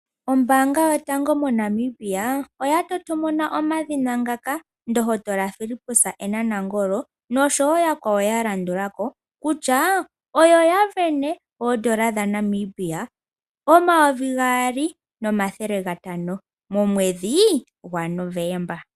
Ombaanga yotango moNamibia oya totomona omadhina ngaka Ndohotola Fillipus N Nangolo noshowo yakwawo ya landula ko kutya, oyo ya sindana oondola dhaaNamibia omayovi gaali nomathele gatano momwedhi gwaNovomba.